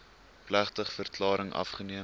plegtige verklaring afgeneem